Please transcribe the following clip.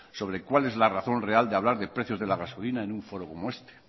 sobre cuál es la razón real de hablar de precios de la gasolina en un foro como este